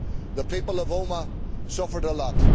The people of Omagh suffered a lot.